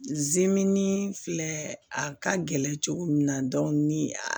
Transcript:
filɛ a ka gɛlɛn cogo min na ni